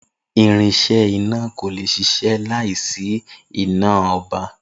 Irinsé iná kò le ṣiṣẹ́ láìsí iná ọba